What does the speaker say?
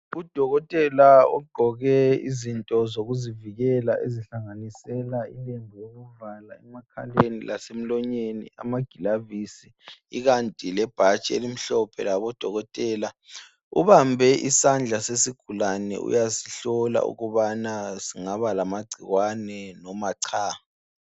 Udokotela ogqoke izinto zokuzivikela ezihlanganisela ilembu lokuvala emakheleni lasemlonyeni amagilovisi ikanti lebhatshi elimhlophe labodokotela. Ubambe isandla sesigulane uyasihlola ukubana singaba lamagcikwane loba cha.